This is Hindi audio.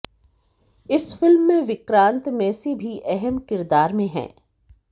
इस फिल्म में विक्रांत मेसी भी अहम किरदार में हैं